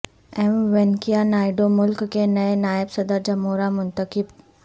M Venkaiah Naidu ملک کے نئے نائب صدر جمہوریہ منتخب